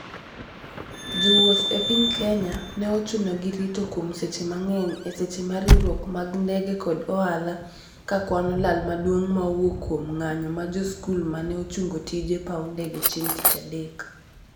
Jo wouth e piny Kenya ne ochuno gi rito kuom seche mang'eny e seche ma riwruok mag ndege kod ohala ka kuano lal maduong' ma owuok kuom ng'anyo mar jo skul ma ne ochungo tije paw ndege chieng tich adek